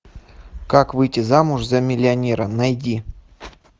как выйти замуж за миллионера найди